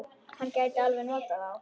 Hann gæti alveg notað þá.